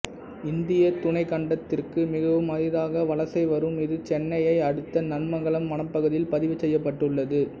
இந்தியத் துணைக்கண்டத்திற்கு மிகவும் அரிதாக வலசை வரும் இது சென்னையை அடுத்த நன்மங்கலம் வனப்பகுதியில் பதிவு செய்யப்பட்டுள்ளது